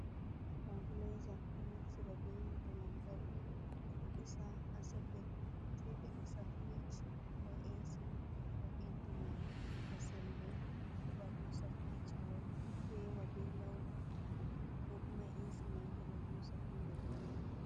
Stableza do naftira be hite lantarki bedo disa ha soket sei be isa frich ko esi heɓa ɓe sembe heɓa hosa frich mai fewa be lau kokoma esi mai heba husa fewa be lau.